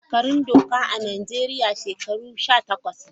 Shekarun doka a Najeriya shekaru Sha takwas ne.